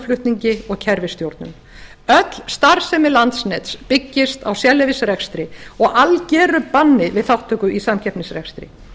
í raforkuflutningi og kerfisstjórnun öll starfsemi landsnets byggist á sérleyfisrekstri og algeru banni við þátttöku í samkeppnisrekstri